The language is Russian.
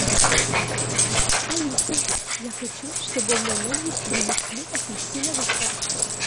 алиса я хочу чтобы в мой номер принесли апельсиновый сок